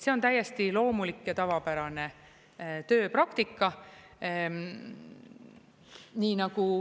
See on täiesti loomulik ja tavapärane tööpraktika.